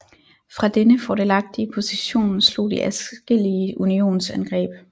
Fra denne fordelagtige position slog de adskillige Unionsangreb